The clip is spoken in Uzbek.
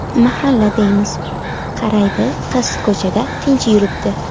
Mahalla deymiz, qaraydi qiz ko‘chada tinch yuribdi.